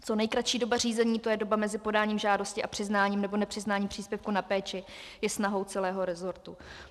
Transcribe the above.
Co nejkratší doba řízení, to je doba mezi podáním žádosti a přiznáním nebo nepřiznáním příspěvku na péči, je snahou celého resortu.